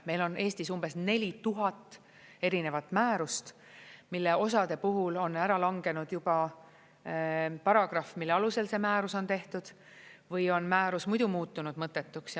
Meil on Eestis umbes 4000 erinevat määrust, millest osa puhul on ära langenud juba paragrahv, mille alusel see määrus on tehtud või on määrus muidu muutunud mõttetuks.